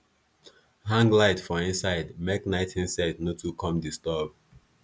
hang light for inside make night insect no too come disturb